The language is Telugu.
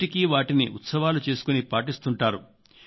నేటికీ వాటిని ఉత్సవాలు చేసుకుని పాటిస్తుంటారు